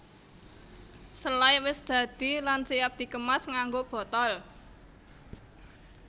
Selai wis dadi lan siap dikemas nganggo botol